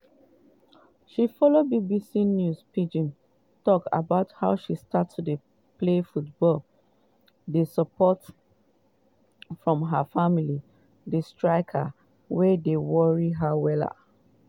she follow bbc news pidgin tok about how she start to play football di support from her family di striker wey dey worry her well